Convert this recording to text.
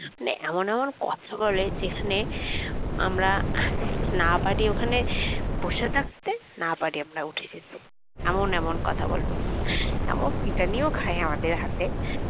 মানে এমন এমন কথা বলে যেখানে আমরা না পারি ওখানে বসে থাকতে না পারি আমরা উঠে যেতে এমন এমন কথা বলবে ব্যাপক পিটানীয় খায় আমাদের হাতে